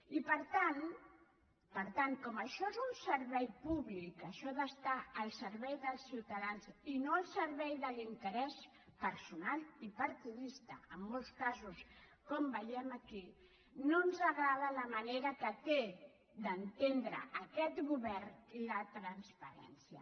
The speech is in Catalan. i per tant com que això és un servei públic això d’estar al servei dels ciutadans i no al servei de l’interès personal i partidista en molts casos com veiem aquí no ens agrada la manera que té d’entendre aquest govern la transparència